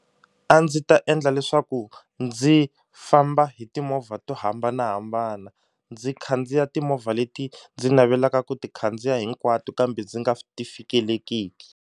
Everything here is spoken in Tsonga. A ndzi ta endla leswaku ndzi famba hi timovha to hambanahambana ndzi khandziya timovha leti ndzi navelaka ku ti khandziya hinkwato kambe ndzi nga ti fikelekiki.